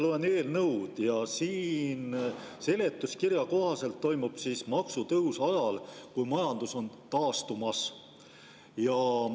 Mina ikka loen eelnõu ja seletuskirja kohaselt toimub maksutõus ajal, kui majandus on taastumas.